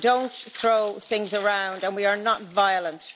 We don't throw things around and we are not violent.